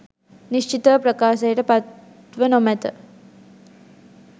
නිශ්චිතව ප්‍රකාශයට පත්ව නොමැත